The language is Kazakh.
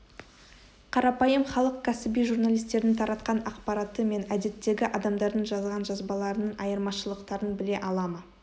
қарапайым халық кәсіби журналистердің таратқан ақпараты мен әдеттегі адамдардың жазған жазбаларының айырмашылықтарын біле ала ма